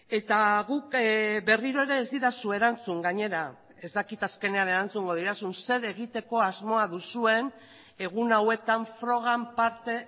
eta guk berriro ere ez didazu erantzun gainera ez dakit azkenean erantzungo didazun zer egiteko asmoa duzuen egun hauetan frogan parte